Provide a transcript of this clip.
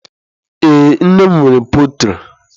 Ee, nne m nwere pọltrị.